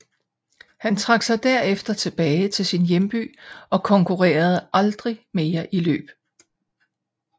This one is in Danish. Han trak sig derefter tilbage til sin hjemby og konkurrerede aldrig mere i løb